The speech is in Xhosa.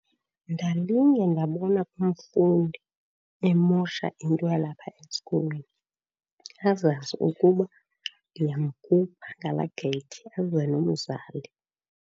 Ndalinge ndabona umfundi emosha into yalapha esikolweni azazi ukuba ndiyamkhupha ngalaa geyithi aze nomzali.